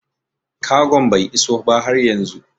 Kagon bai iso ba har yanzu